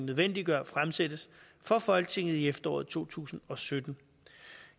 nødvendiggør fremsættes for folketinget i efteråret to tusind og sytten